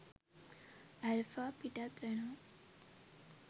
Alpha පිටත් වෙනවා.